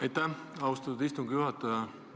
Aitäh, austatud istungi juhataja!